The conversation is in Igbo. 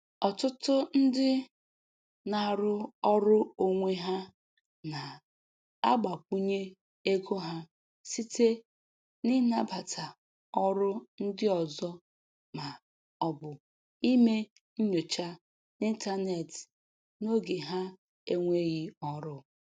Ọtụtụ ndị na-arụ ọrụ onwe ha na-agbakwunye ego ha site n’ịnabata oru ndị ọzọ ma ọ bụ ime nnyocha n’ịntanetị n’oge ha enweghị ọrụ